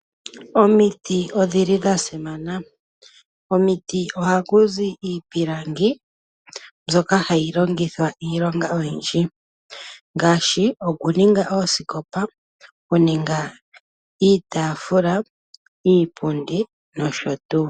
Omiti odhi li dha simana. Komiti ohaku zi iipilangi, mbyoka hayi longithwa iilonga oyindji. Ngaashi okuninga oosikopa, iitaafula, iipundi, nosho tuu.